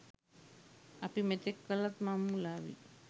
අප මෙතෙක් කළක් මං මුලාවී